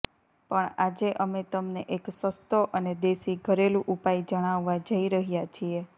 પણ આજે અમે તમને એક સસ્તો અને દેશી ઘરેલુ ઉપાય જણાવવા જય રહ્યા છીએ